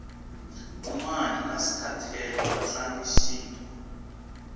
umanyi naskhathele vatlanga shintu